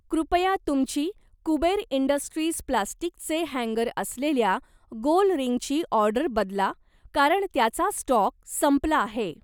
कृपया तुमची कुबेर इंडस्ट्रीज प्लास्टिकचे हॅन्गर असलेल्या गोल रिंगची ऑर्डर बदला कारण त्याचा स्टॉक संपला आहे